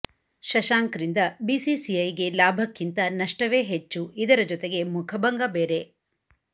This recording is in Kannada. ಶಶಾಂಕ್ರಿಂದ ಬಿಸಿಸಿಐಗೆ ಲಾಭಕ್ಕಿಂತ ನಷ್ಟವೇ ಹೆಚ್ಚು ಇದರ ಜೊತೆಗೆ ಮುಖಭಂಗ ಬೇರೆ